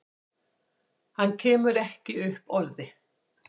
Hann kemur ekki upp orði.